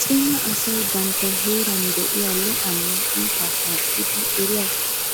Cima asay bantta heeran de'iyaa lo"uwaanne iitaa shaakkidi eriyaa